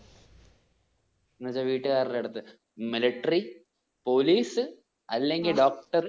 എന്ന് വെച്ചാ വീട്ട്കാർടെ അടുത്ത് miltary, police അല്ലെങ്കിൽ doctor